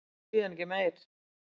Og síðan ekki meir?